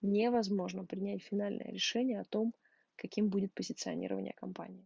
невозможно принять финальное решение о том каким будет позиционирование компании